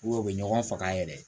u bɛ ɲɔgɔn faga yɛrɛ